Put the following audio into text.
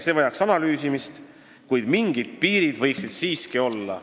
See vajaks analüüsimist, kuid mingid piirid võiksid siiski olla.